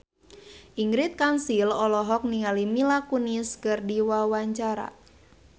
Ingrid Kansil olohok ningali Mila Kunis keur diwawancara